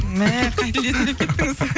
мә қай тілде сөйлеп кеттіңіз